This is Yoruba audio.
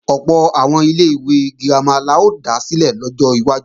Ọ̀pọ̀ àwọn ilé-ìwé girama la ó dá sílẹ̀ lọ́jọ́ iwájú